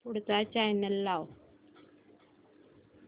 पुढचा चॅनल लाव